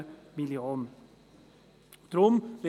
Aber wir wissen es nicht, weil es keine Transparenz gibt.